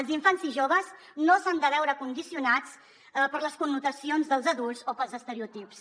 els infants i joves no s’han de veure condicionats per les connotacions dels adults o pels estereotips